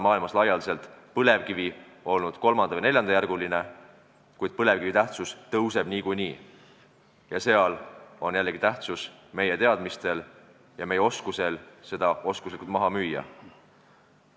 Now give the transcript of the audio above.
Maailmas on põlevkivi olnud kolmanda- või neljandajärguline, kuid selle tähtsus tõuseb niikuinii ja siis on jällegi tähtsust meie teadmistel ja oskusel seda oskuslikult müüa.